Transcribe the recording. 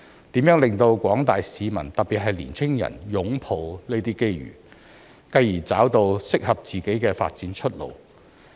如何令廣大市民擁抱這些機遇，繼而找到適合自己的發展出路？